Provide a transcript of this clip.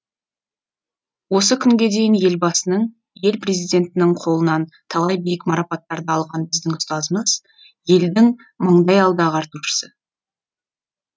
осы күнге дейін елбасының ел президентінің қолынан талай биік марапаттарды алған біздің ұстазымыз елдің маңдайалды ағартушысы